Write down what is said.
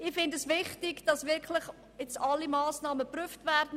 Ich finde es wichtig, dass jetzt wirklich alle Massnahmen geprüft werden.